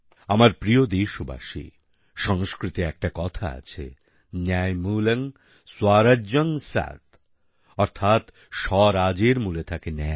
আমার প্রিয় দেশবাসী সংস্কৃতে একটা কথা আছে ন্যায়মূলং স্বরাজ্যং স্যাত অর্থাৎ স্বরাজের মূলে থাকে ন্যায়